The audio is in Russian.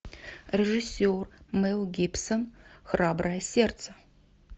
режиссер мел гибсон храброе сердце